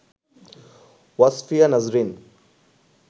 Wasfia Nazrin